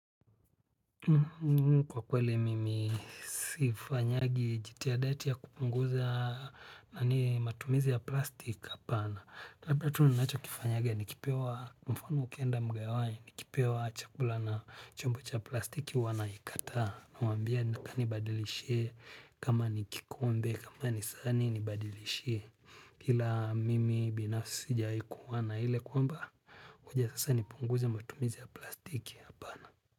Kwa kweli, mimi sifanyagi jitihada ati ya kupunguza matumizi ya plastik hapana. Kwa kweli, mimi sifanyagi jitihada ati ya kupunguza matumizi ya plastik hapana. Kwa kweli, mifano ukienda mgahawani, nikipewa chakula na chombo cha plastiki huwa naikataa. Namwambia anibadilishie, kama ni kikombe kama ni sahani, namwambia anirudishie ila mimi binafisi sijawahi kuwa na ile kwamba, ngoja sasa nipunguze matumizi ya plastik hapana.